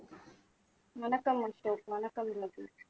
வணக்கம் அசோக் வணக்கம் ரவி